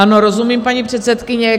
Ano, rozumím, paní předsedkyně.